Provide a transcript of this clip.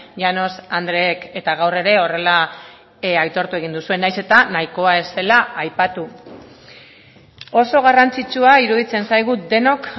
llanos andreek eta gaur ere horrela aitortu egin duzue nahiz eta nahikoa ez zela aipatu oso garrantzitsua iruditzen zaigu denok